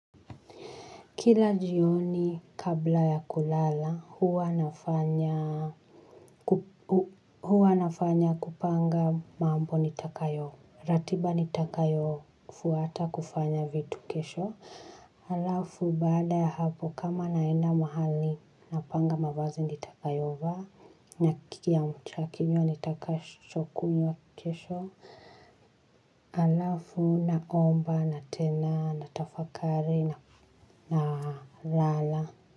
Kila jioni kabla ya kulala, huwa na fanya huwa nafanya kupanga mambo nitakayo, ratiba nitakayo fuata kufanya vitu kesho. Halafu baada ya hapo kama naenda mahali napanga mavazi nitakayovaa na kile kiamshakinywa nitakacho kunywa kesha halafu na omba na tena na tafakari na lala.